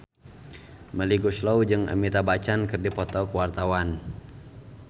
Melly Goeslaw jeung Amitabh Bachchan keur dipoto ku wartawan